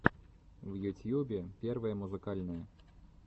в ютьюбе первое музыкальное